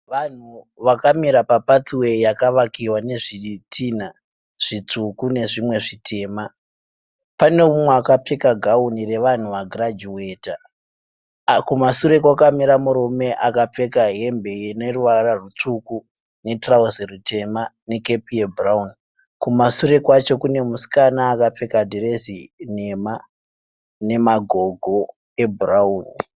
Vanhu vakamira pa pathway yakavakiwa nezvitinha zvitsvuku nezvimwe zvitema. Pane mumwe akapfeka gauni revanhu va girajuweta. Kumasure kwakamira murume akapfeka hembe ineruvara rutsvuku , netirauzi ritema nekepi ye bhurauni. kumasure kwacho kune musikana akapfeka dhirezi nhema nemagogo ebhurauni.